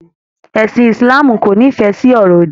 Ẹ̀sìn Ìsìláàmù kò nifẹ sí ọ̀rọ̀ òdì